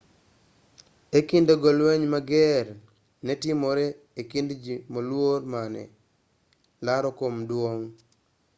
e kinde go lweny mager ne timore e kind ji moluor mane laro kom duong'